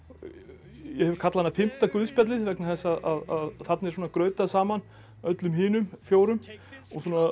ég hef kallað hana fimmta guðspjallið vegna þess að þarna er svona grautað saman öllum hinum fjórum og